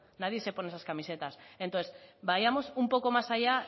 nadie se pone esas camisetas entonces vayamos un poco más allá